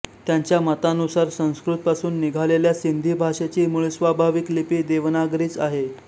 त्यांच्या मतानुसार संस्कृतपासून निघालेल्या सिंधी भाषेची मूळस्वाभाविक लिपी देवनागरीच आहे